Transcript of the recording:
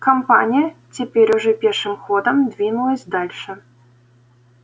компания теперь уже пешим ходом двинулась дальше